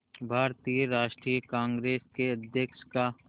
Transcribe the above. भारतीय राष्ट्रीय कांग्रेस के अध्यक्ष का